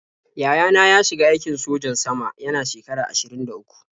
Yaya na ya shiga aikin sojan sama yana shekara ashirin da uku.